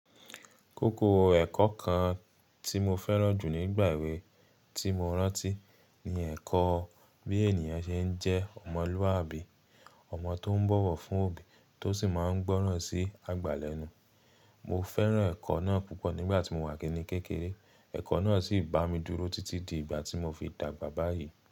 Kókó ẹ̀kọ́ kan tí mo fẹ́ràn jù nígbà èwe tí mo rántí ni ẹ̀kọ́ bí ènìyàn ṣe ń jẹ́ ọmọlúwàbí, ọmọ tó ń bọ̀wọ̀ fún òbí tó sì máa ń gbọ́ràn sí àgbà lẹ́nu. Mo fẹ́ràn ẹ̀kọ́ náà púpọ̀ nígbà tí mo wà kíní kékeré. Ẹ̀kọ́ náà sì bá mi dúró títí di ìgbà tí mo fi dàgbà báyìí.